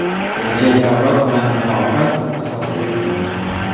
Kelajak avlod bilan aloqa asossiz emas.